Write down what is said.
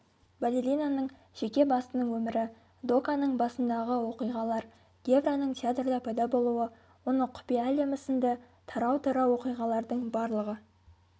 балеринаның жеке басының өмірі доканың басындағы оқиғалар гевраның театрда пайда болуы оның құпия әлемі сынды тарау-тарау оқиғалардың барлығы